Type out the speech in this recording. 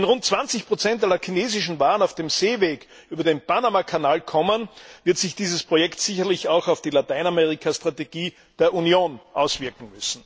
Wenn rund 20 aller chinesischen Waren auf dem Seeweg über den Panamakanal kommen, wird sich dieses Projekt sicherlich auch auf die Lateinamerikastrategie der Union auswirken.